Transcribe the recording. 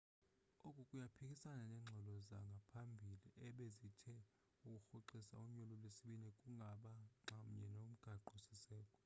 oku kuyaphikisana neengxelo zangaphambili ebezithe ukurhoxisa unyulo lwesibini kungaba nxamnye nomgaqo siseko